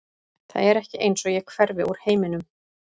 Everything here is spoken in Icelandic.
Það er ekki eins og ég hverfi úr heiminum.